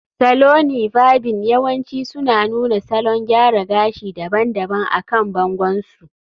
Saloni varbing yawanci suna nuna salon gyara gashi daban-daban akan bangon su